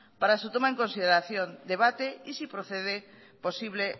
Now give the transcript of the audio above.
para su toma en consideración debate y si procede posible